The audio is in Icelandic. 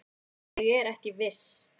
Ég er ekki viss.